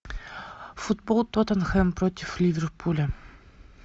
футбол тоттенхэм против ливерпуля